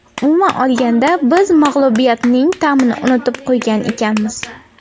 Umuman olganda, biz mag‘lubiyatning ta’mini unutib qo‘ygan ekanmiz.